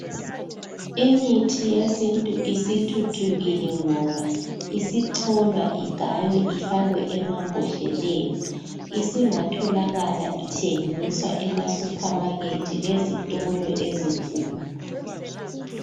Imithi yesintu isithuthukile ngoba isicholwa igaywe ifakwe emambhodleleni isingatholakala ithengiswa ema supermarket lezitolo ezinkulu.